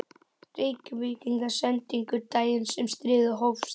Reykvíkingar sendingu daginn sem stríðið hófst.